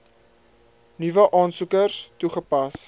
nuwe aansoekers toegepas